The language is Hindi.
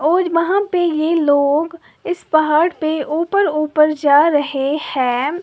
और वहां पे ये लोग इस पहाड़ पे ऊपर ऊपर जा रहे हैं।